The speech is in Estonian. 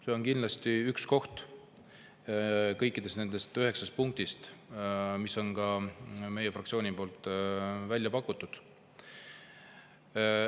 See on kindlasti üks nendest üheksast punktist, mis on meie fraktsiooni poolt välja pakutud.